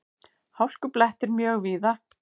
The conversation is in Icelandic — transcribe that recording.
Hálkublettir mjög víða